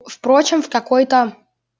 впрочем в какой-то